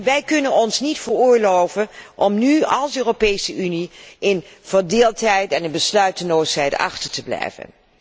Wij kunnen ons niet veroorloven om nu als Europese Unie in verdeeldheid en besluiteloosheid achter te blijven.